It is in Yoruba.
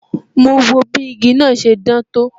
Mo wo bí igi náà ṣe dán tó